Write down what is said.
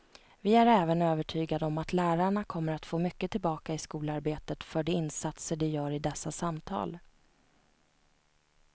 Vi är även övertygade om att lärarna kommer att få mycket tillbaka i skolarbetet för de insatser de gör i dessa samtal.